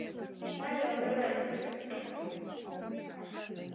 Sagði honum upp.